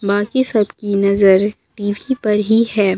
बाकी सब की नजर टी_वी पर ही है।